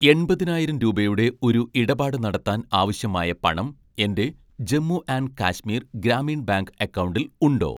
എൺപതിനായിരം രൂപയുടെ ഒരു ഇടപാട് നടത്താൻ ആവശ്യമായ പണം എൻ്റെ ;ജമ്മു ആൻഡ് കശ്മീർ ഗ്രാമീൺ ബാങ്ക്' അക്കൗണ്ടിൽ ഉണ്ടോ